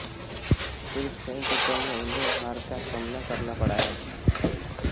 सिर्फ French Open में उन्हें हार का सामना करना पड़ा है